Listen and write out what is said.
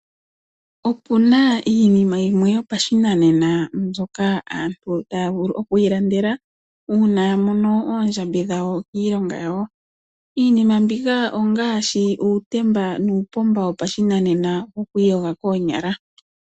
Opu na iinima yimwe yopashinanena mbyoka aantu taya vulu oku ilandela una ya mono oondjambi dhawo kiilonga yawo. Iinima mbika ongaashi uutemba nuupomba wopashinanena wokwiiyoga koonyala.